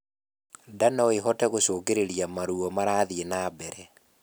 Ndaa noĩhote gũcũngĩrĩrĩa maruo marathie nambere